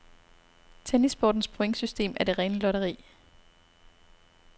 Tennissportens pointsystem er det rene lotteri.